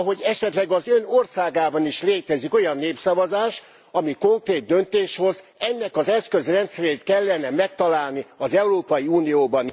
Ahogy esetleg az Ön országában is létezik olyan népszavazás, amely konkrét döntést hoz, ennek az eszközrendszerét kellene megtalálni az Európai Unióban.